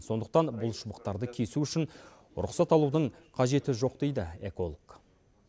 сондықтан бұл шыбықтарды кесу үшін рұқсат алудың қажеті жоқ дейді эколог